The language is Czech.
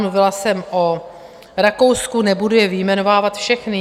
Mluvila jsme o Rakousku, nebudu je vyjmenovávat všechny.